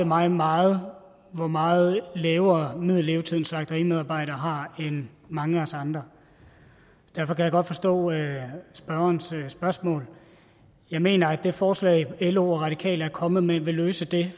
mig meget hvor meget lavere middellevetid en slagteriarbejder har end mange af os andre derfor kan jeg godt forstå spørgerens spørgsmål jeg mener at det forslag lo og radikale er kommet med vil løse det